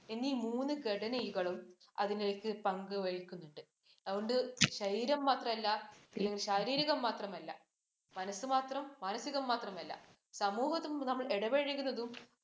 എന്നീ മൂന്ന് ഘടനകളും അതിനൊരു പങ്ക് വഹിക്കുന്നുണ്ട്. അതുകൊണ്ട് ശരീരം മാത്രമല്ല, ശാരീരികം മാത്രമല്ല, മനസ്സ് മാത്രം, മാനസികം മാത്രമല്ല, സമൂഹത്തിൽ നമ്മൾ ഇടപഴകുന്നതും